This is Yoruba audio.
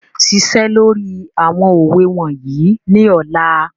Ṣiṣẹ́ lórí àwọn òwe wọ̀nyí ní ọ̀la.